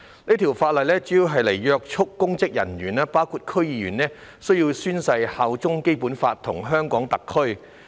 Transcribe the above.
有關修訂主要旨在約束公職人員，包括區議員，規定他們須宣誓擁護《基本法》及效忠香港特區。